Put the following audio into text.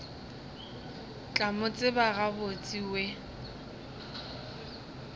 tla mo tseba gabotse we